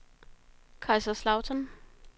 Kaiserslautern